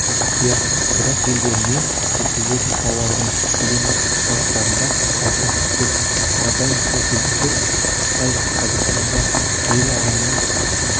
иә одақ елдеріне жеткізілетін тауарлардың кедендік салықтарында алшақтық көп қарапайым мысал келтірсек қытай қазақстанға әйел адамның